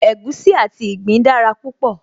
Egusi àti ìgbín dára púpọ̀